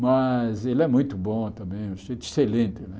Mas ele é muito bom também, um sujeito excelente, né?